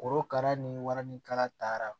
Korokara ni waranikala taara